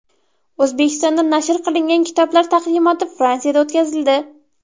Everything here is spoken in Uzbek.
O‘zbekistonda nashr qilingan kitoblar taqdimoti Fransiyada o‘tkazildi.